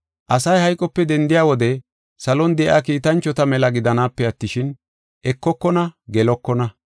Asay hayqope dendiya wode salon de7iya kiitanchota mela gidanaape attishin, ekokona gelokona.